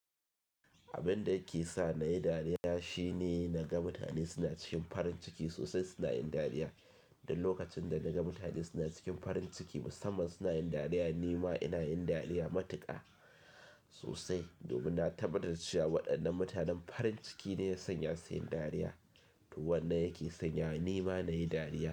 Abin da ya ke sa na yi dariya shine naga mutane suna cikin farin ciki sosai suna yin dariya. Dak lokacin da naga mutane suna cikin farin ciki musamman suna yin dariya, ni ma ina yin dariya matuƙa sosai domin na tabbatar da cewa waɗannan mutanen farin ciki ne ya sanya su yin dariya. To wannan yake sanya ni ma na yi dariya.